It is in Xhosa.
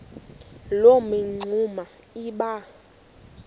loo mingxuma iba